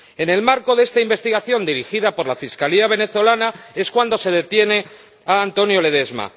En el marco de esta investigación dirigida por la Fiscalía venezolana es cuando se detiene a Antonio Ledezma.